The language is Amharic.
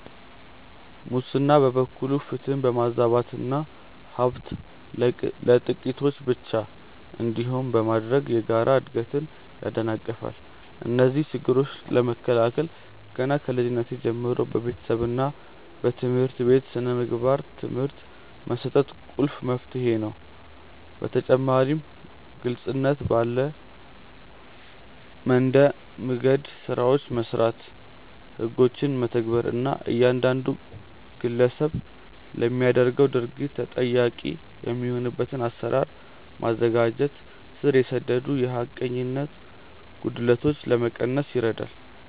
ሙስና በበኩሉ ፍትህን በማዛባትና ሀብት ለጥቂቶች ብቻ እንዲሆን በማድረግ የጋራ እድገትን ያደናቅፋል። እነዚህን ችግሮች ለመከላከል ገና ከልጅነት ጀምሮ በቤተሰብና በትምህርት ቤት የሥነ ምግባር ትምህርት መስጠት ቁልፍ መፍትሄ ነው። በተጨማሪም ግልጽነት ባለ መንደምገድ ስራዎችን መስራት፣ ህጎችን መተግበር እና እያንዳንዱ ግለሰብ ለሚያደርገው ድርጊት ተጠያቂ የሚሆንበትን አሰራር ማዘጋጀት ስር የሰደዱ የሐቀኝነት ጉድለቶችን ለመቀነስ ይረዳል።